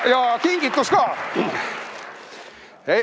Ja kingitus ka.